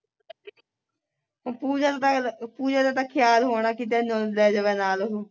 ਪੂਜਾ ਦਾ ਤੇ ਪੂਜਾ ਦਾ ਤੇ ਖਿਆਲ ਹੋਣਾ ਤਾਂ ਕੀ ਤੈਨੂੰ ਲੈ ਜਾਵੇ ਨਾਲ ਉਹ